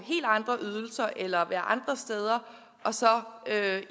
andre ydelser eller være andre steder og så at